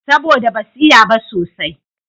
Saboda da ba su iya ba sosai